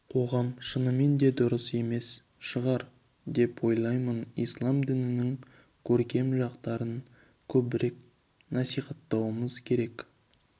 қоғам шынымен де дұрыс емес шығар деп ойлаймын ислам дінінің көркем жақтарын көбірек насихаттауымыз керек